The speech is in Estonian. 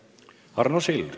Arno Sild.